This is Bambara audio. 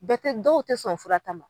Bɛɛ tɛ dɔw tɛ sɔn fura ta ma.